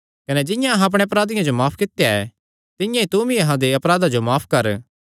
कने जिंआं अहां अपणे अपराधियां जो माफ कित्या ऐ तिंआं ई तूमी अहां दे अपराधां जो माफ कर